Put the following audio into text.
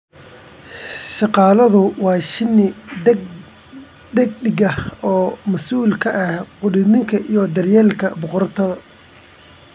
Shaqaaluhu waa shinni dhedig ah oo mas'uul ka ah quudinta iyo daryeelka boqoradda.